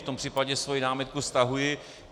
V tom případě svoji námitku stahuji.